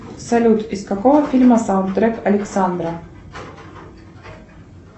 салют из какого фильма саундтрек александра